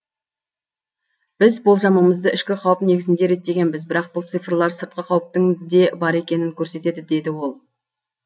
біз болжамымызды ішкі қауіп негізінде реттегенбіз бірақ бұл цифрлар сыртқы қауіптің де бар екенін көрсетеді деді ол